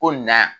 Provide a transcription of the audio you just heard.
Ko na